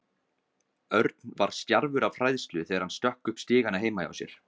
Örn var stjarfur af hræðslu þegar hann stökk upp stigana heima hjá sér.